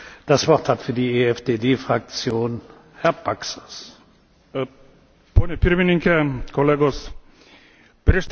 Pone pirmininke, kolegos, prieš tris savaitės Europos Komisija iškilmingai paskelbė apie Energetikos sąjungos sukūrimą.